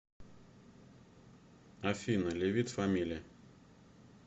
афина ле вит фамили